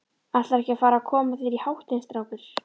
Ætlarðu ekki að fara að koma þér í háttinn, strákur?